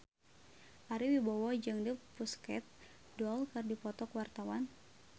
Ari Wibowo jeung The Pussycat Dolls keur dipoto ku wartawan